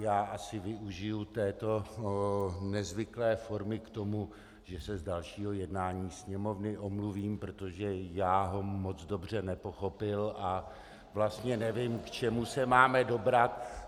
Já asi využiji této nezvyklé formy k tomu, že se z dalšího jednání Sněmovny omluvím, protože jsem ho moc dobře nepochopil a vlastně nevím, k čemu se máme dobrat.